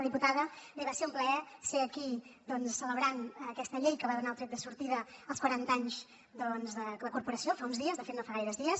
diputada bé va ser un plaer ser aquí celebrant aquesta llei que va donar el tret de sortida als quaranta anys de la corporació fa uns dies de fet no fa gaires dies